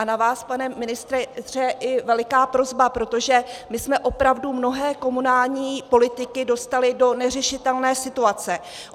A na vás, pane ministře, je veliká prosba, protože my jsme opravdu mnohé komunální politiky dostali do neřešitelné situace.